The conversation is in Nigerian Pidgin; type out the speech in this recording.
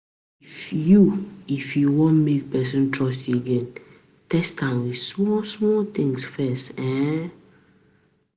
If you If you want make person trust you again, test am with small small things first um